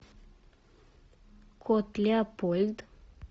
кот леопольд